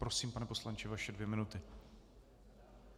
Prosím, pane poslanče, vaše dvě minuty.